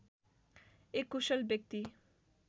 एक कुशल व्यक्ति